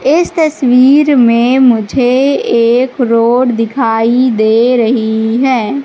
इस तस्वीर में मुझे एक रोड दिखाई दे रही है।